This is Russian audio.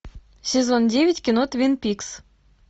сезон девять кино твин пикс